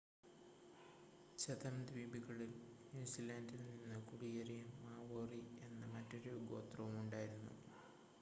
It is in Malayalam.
ഛതം ദ്വീപുകളിൽ ന്യൂസിലാൻഡിൽ നിന്ന് കുടിയേറിയ മാവോറി എന്ന മറ്റൊരു ഗോത്രവും ഉണ്ടായിരുന്നു